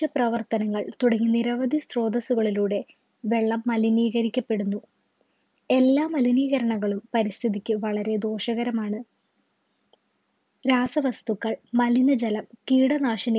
പ്രവർത്തനങ്ങൾ തുടങ്ങി നിരവധി സ്രോതസുകളിലൂടെ വെള്ളം മലിനീകരിക്കപ്പെടുന്നു എല്ലാ മലിനീകരണങ്ങളും പരിസ്ഥിതിക്ക് വളരെ ദോഷകരമാണ് രാസവസ്തുക്കൾ മലിനജലം കീടനാശിനി